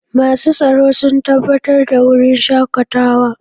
Masu tsaro sun tabbatar da wurin shakatawa.